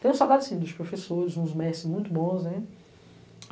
Tenho saudades, sim, dos professores, dos mestres muito bons, né?